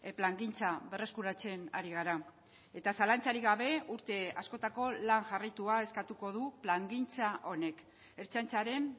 plangintza berreskuratzen ari gara eta zalantzarik gabe urte askotako lan jarraitua eskatuko du plangintza honek ertzaintzaren